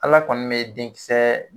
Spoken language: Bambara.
Ala kɔni bɛ denkisɛ